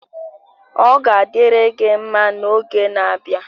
Ọ ga-adịrị gị mma n'oge na-abịa